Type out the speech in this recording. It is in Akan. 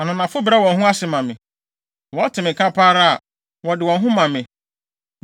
Ananafo brɛ wɔn ho ase ma me; wɔte me nka pɛ ara a, wɔde wɔn ho ma me.